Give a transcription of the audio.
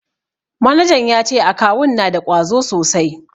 Manajan ya ce akawun na da ƙwazo sosai.